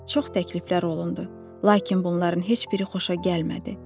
Çox təkliflər olundu, lakin bunların heç biri xoşa gəlmədi.